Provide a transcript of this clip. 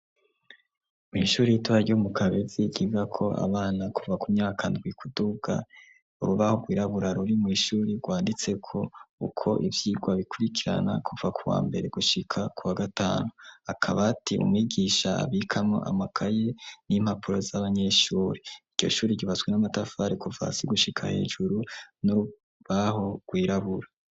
Mw'ishuri ritoya ryo mu kabezi giga ko abana kuva ku myaka ndwikuduwa uru baho rwirabura ruri mu ishuri rwanditse ko uko ibyigwa bikurikirana kuva kuwa mbere gushika kuwa gatanu akaba ati umwigisha abikamo amakaye n'impapuro z'abanyeshuri, icyoshuri gibaswe n'amatafari kuvasi gushika hejuru n'urubaho rwirabura.